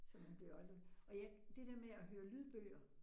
Så man bliver jo aldrig, og jeg det der med at høre lydbøger